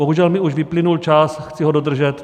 Bohužel mi už vyplynul čas, chci ho dodržet.